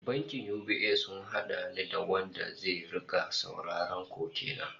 Bankin UBA sun hada ni da wanda zai rika sauraron koke na